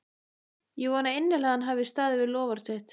Ég vona innilega að hann hafi staðið við loforð sitt.